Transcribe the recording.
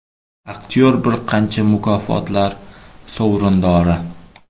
Aktyor bir qancha mukofotlar sovrindori.